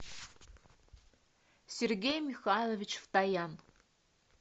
сергей михайлович втоян